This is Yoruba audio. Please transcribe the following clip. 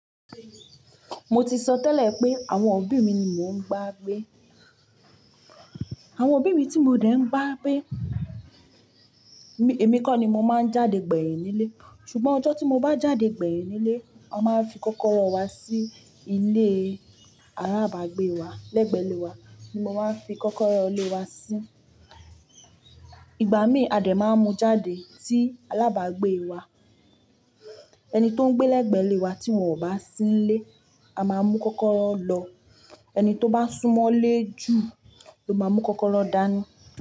Mo ti sọ tẹ́lẹ̀ pé àwọn òbí mi ni mò ń ba gbé. Àwọn òbí mi tí mo dẹ̀ ń baa gbé, èmi kọ́ ni mo máa ń jáde gbẹ̀yìn nílé. Ṣùgbọ́n ọjọ́ tí mo bá jáde gbẹ̀yìn nílé, a máa fi kọ́kọ́rọ́ wa sí ilé alábàágbé wa. Lẹ́gbẹ̀ẹ́ ilé wa ni mo máa ń fi kọ́kọ́rọ́ ilé wa sí. Ìgbà mìí a dẹ̀ máa mú jáde tí alábàágbé wa. Ẹni tó ń gbé lẹ́gbẹ̀ẹ́ ilé wa tí wọn ò bá sí nílé, a máa mú kọ́kọ́rọ́ lọ. Ẹni tó bá súnmọ́lé jù ló máa mú kọ́kọ́rọ́ dání.